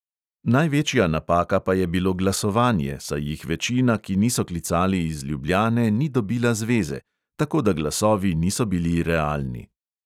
Največja napaka pa je bilo glasovanje, saj jih večina, ki niso klicali iz ljubljane, ni dobila zveze; tako da glasovi niso bili realni.